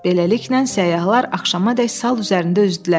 Beləliklə səyyahlar axşamədək sal üzərində üzdülər.